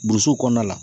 Boso kɔnɔna la